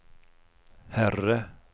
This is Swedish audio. herre